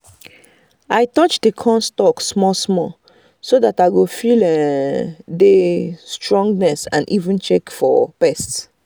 i touch the corn stalk small small so that i go feel um the um strongness and i even check um for pest